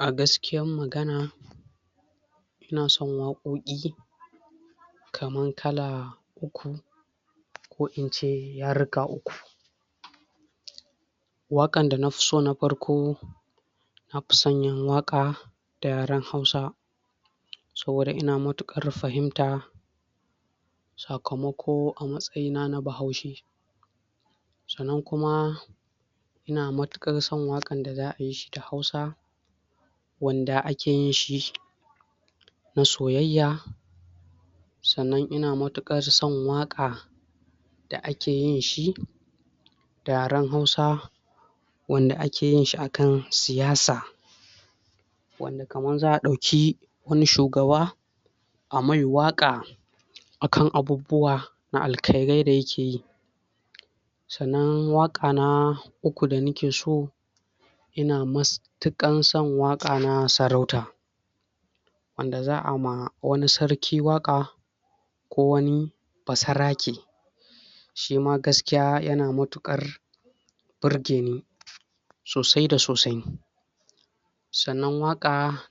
A gaskiyan magana, ina son wakoki kaman kala uku ko ince uku wakan da na fiso na farko na fi son yin waka da yaren hausa saboda ina matukar fahimta a kamako a matsayi na, na bahoushe sannan kuma, ina matukar son wakan da za yi shi da hausa wanda ake yin shi soyayya sannan ina matuka da son waka, da ake yin shi da yaren haus wanda ake yin shi akan siyasa, wanda kaman za a dauki wane shugaba a mai waka akan abubuwa na alkairai da yake yi. Sannan waka na uku da nake so yana mastukan son waka na sarauta wanda za a ma wane sarki waka ko wane basarake shi ma gaskiya yana matukar burge ni sosai da sosai sannan waka